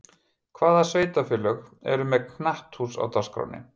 Hvaða sveitarfélög eru með knatthús á dagskránni?